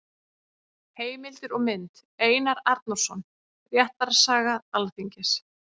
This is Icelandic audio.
Heimildir og mynd: Einar Arnórsson: Réttarsaga Alþingis.